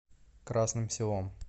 красным селом